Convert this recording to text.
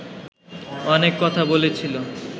অনেক কথা বলেছিল